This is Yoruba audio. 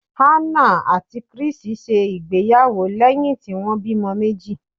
Hannah àti Chris ṣe ìgbéyàwó lẹ́hìn tí wọ́n bímọ meji.